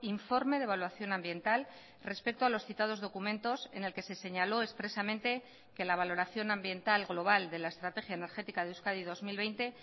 informe de evaluación ambiental respecto a los citados documentos en el que se señaló expresamente que la valoración ambiental global de la estrategia energética de euskadi dos mil veinte